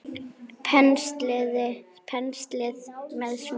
Penslið með smjöri.